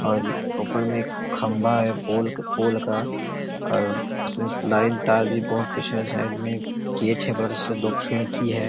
और ऊपर में एक खम्बा हैं पोलक पोल का और उसमे लाइन तार बहोत पीछे साइड में गेट हैं बड़े से दो खिड़की हैं।